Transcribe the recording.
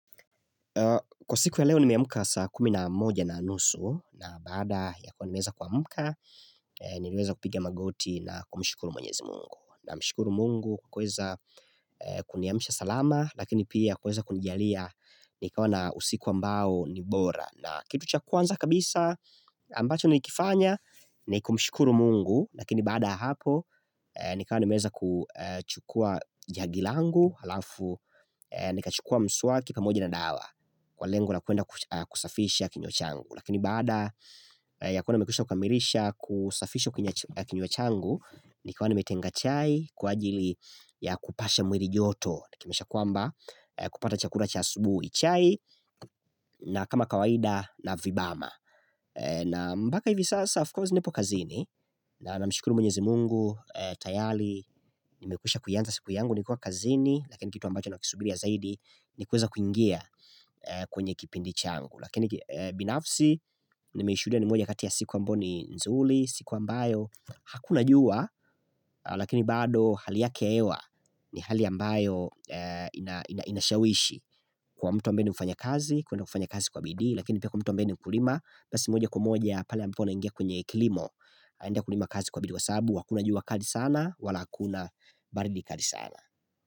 Kwa siku ya leo nimeamka saa kumi na moja na nusu na baada ya kuwa nimeweza kuamka nimeweza kupiga magoti na kumshukuru mwenyezi mungu. Namshukuru mungu kweza kuniamsha salama lakini pia kweza kunijalia nikawa na usiku ambao ni bora. Na kitu cha kwanza kabisa ambacho nikifanya nikumshikuru mungu lakini baada ya hapo nikawa nimeweza kuchukua jagi langu halafu nikachukua mswaki pamoja na dawa. Kwa lengo la kwenda kusafisha kinywa changu Lakini baada ya kwona nimekwisha kukamilisha kusafisha kinywa changu nikawa nimetenga chai kwa ajili ya kupasha mwili joto Nikimisha kwamba kupata chakula cha asubuhi chai na kama kawaida na vibama na moka hivi sasa of course nipo kazini na namshukuru mwenyezi mungu tayari nimekwisha kuianza siku yangu nikiwa kazini Lakini kitu ambacho na kisubiri ya zaidi ni kweza kuingia kwenye kipindi changu Lakini binafsi nimeishuhudia ni moja katia siku ambayo ni nzuri siku ambayo hakuna jua Lakini bado hali yake hewa ni hali ambayo inashawishi Kwa mtu ambaye ni mfanya kazi aende kufanya kazi kwa bidii lakini pia kwa mtu ambeni mkulima basi moja kwa moja pale ambapo anaingia kwenye kilimo enda kulima kazi kwa bidii kwasababu hakuna jua kali sana wala hakuna baridi kali sana.